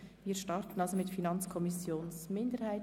Wir starten mit der Sprecherin der FiKo-Minderheit.